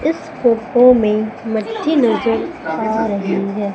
इस फोटो में मट्ठी नजर आ रही है।